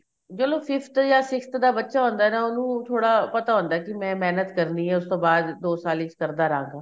ਚਲੋ fifth ਜਾਂ sixth ਦਾ ਬੱਚਾ ਹੁੰਦਾ ਨਾ ਉਹਨੂੰ ਥੋੜਾ ਪਤਾ ਹੁੰਦਾ ਕੀ ਮੈਂ ਮਹਿਨਤ ਕਰਨੀ ਏ ਉਸ ਤੋਂ ਬਾਅਦ ਦੋ ਸਾਲ ਵਿੱਚ ਕਰਦਾ ਰਹਾਗਾ